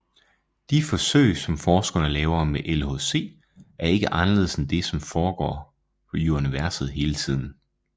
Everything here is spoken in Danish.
De forsøg som forskerne laver med LHC er ikke anderledes end det som foregår i universet hele tiden